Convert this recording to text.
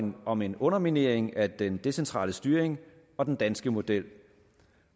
om en underminering af den decentrale styring og den danske model